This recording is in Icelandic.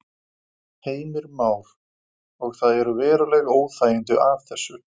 Heimir Már: Og það eru veruleg óþægindi af þessu?